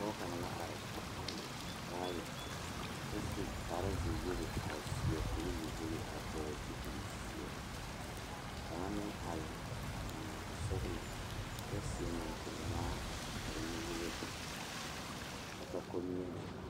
Pɔge kaŋ la pegle baagi kyɛ seɛ kuri ziwogi ka kaŋa meŋ are a eŋ nɔɔte sɔglɔ kyɛ suɛ moɔkuri ŋmaa a su kpare nuwogre kyɛ ka komie .